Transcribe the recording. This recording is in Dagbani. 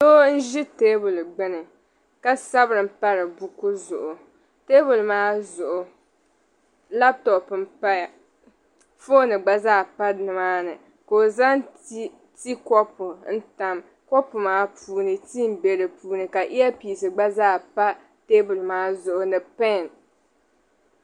Doo n-ʒi teebuli gbuni ka sabiri m-pari buku zuɣu teebuli maa zuɣu laptɔp m-paya fooni gba zaa pa nimaa ni ka o zaŋ tii kopu n-tam kopu maa puuni tii m-be di puuni ka iyapiis gba zaa pa teebuli maa zuɣu ni pɛɛn.